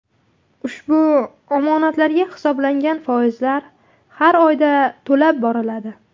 Ushbu omonatlarga hisoblangan foizlar har oyda to‘lab boriladi.